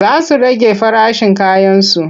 Za su rage farashin kayansu.